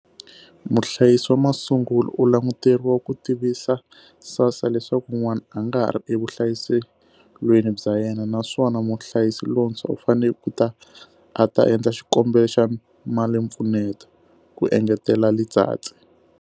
Muhlayisi wa masungulo u languteriwa ku tivisa SASSA leswaku n'wana a nga ha ri evuhlayiselweni bya yena, naswona muhlayisi lontshwa u fanele ku ta a ta endla xikombelo xa malimpfuneto, ku engetela Letsatsi.